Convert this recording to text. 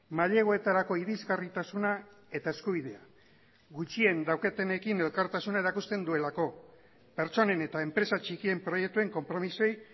maileguetarako irisgarritasuna eta eskubidea gutxien daukatenekin elkartasuna erakusten duelako pertsonen eta enpresa txikien proiektuen konpromisoei